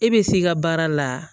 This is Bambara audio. E bɛ s'i ka baara la